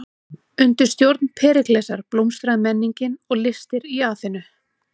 Undir stjórn Períklesar blómstraði menningin og listir í Aþenu.